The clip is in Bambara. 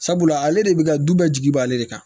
Sabula ale de bɛ ka du bɛɛ jigi b'ale de kan